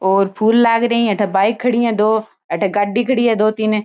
और फूल लागरी है अठे बाइक खड़ी है दो अठे गाड़ी खड़ी है दो तीन।